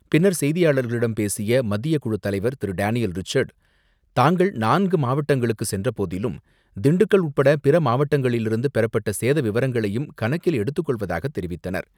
பின்னர் செய்தியாளர்களிடம் பேசிய மத்தியக்குழு தலைவர் திரு டேனியல் ரிச்சர்டு, தாங்கள் நான்கு மாவட்டங்களுக்கு சென்றபோதிலும் திண்டுக்கல் உட்பட பிற மாவட்டங்களிலிருந்து பெறப்பட்ட சேத விவரங்களையும் கணக்கில் எடுத்துக்கொள்வதாக தெரிவித்தனர்.